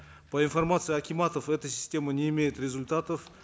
по информации акиматов эта система не имеет результатов